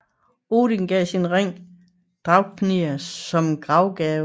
Odin gav sin ring Draupnir som gravgave